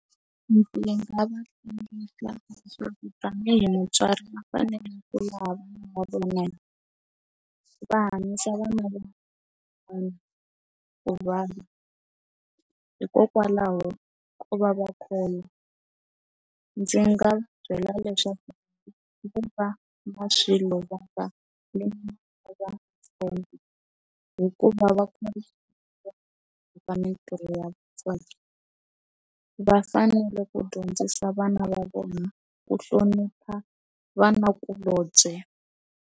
Ndzi nga va yingisela tani hi mutswari va fanele ku lava va vona va hanyisa vana hikokwalaho ku va va ndzi nga byela leswaku hikuva va mitirho ya vona va fanele ku dyondzisa vana va vona ku hlonipha vanakulombye.